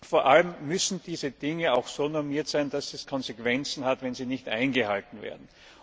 Vor allem müssen diese Dinge so normiert sein, dass es Konsequenzen hat, wenn sie nicht eingehalten werden.